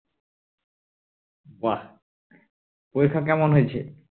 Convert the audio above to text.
বাহ্ পরীক্ষা কেমন হয়েছে